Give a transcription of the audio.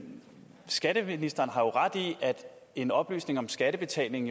skatteministeren har jo ret i at en oplysning om skattebetaling